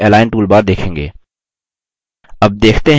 आप align toolbar देखेंगे